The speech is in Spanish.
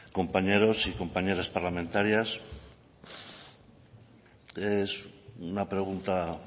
compañeros y compañeras parlamentarias es una pregunta